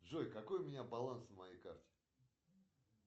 джой какой у меня баланс на моей карте